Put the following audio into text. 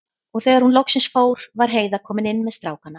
Og þegar hún loksins fór var Heiða komin inn með strákana.